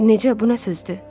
Necə, bu nə sözdür?